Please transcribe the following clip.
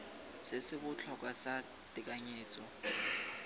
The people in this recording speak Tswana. se se botlhokwa sa tekanyetso